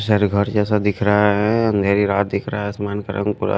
शायद घर जैसा दिख रहा है अंधेरी रात दिख रहा है असमान का रंग पूरा --